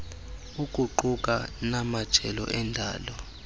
ukuquka namajelo endalo